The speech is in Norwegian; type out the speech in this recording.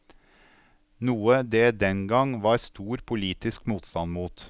Noe det den gang var stor politisk motstand mot.